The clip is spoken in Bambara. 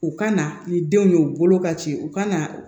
U kana ni denw ye u bolo ka ci u kana